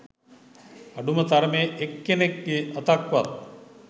අඩුම තරමේ එක් කෙනෙක්ගේ අතක්වත්